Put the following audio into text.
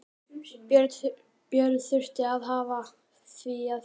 Björn þurfti að hafa fyrir því að fylgja